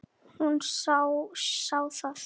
Hún sá það.